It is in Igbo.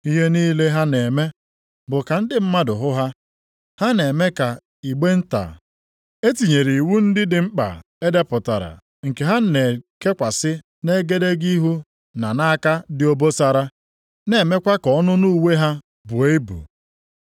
“Ihe niile ha na-eme bụ ka ndị mmadụ hụ ha. Ha na-eme ka igbe nta + 23:5 Maọbụ, Filaktịrị e tinyere iwu ndị dị mkpa e depụtara nke ha na-ekekwasị nʼegedege ihu na nʼaka dị obosara na-emekwa ka ọnụnụ uwe ha buo ibu.